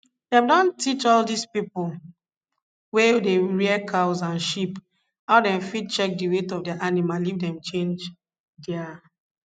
dem don teach all dis pipo wey dey rear cows and sheep how dem fit check di weight of their animal if dem change their